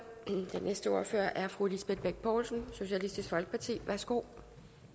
den næste ordfører er fru lisbeth bech poulsen socialistisk folkeparti værsgo